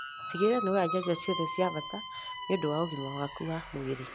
Tigĩrĩra nĩwoya njanjo ciothe cia bata nĩũndũ wa ũgima waku wa mwĩrĩ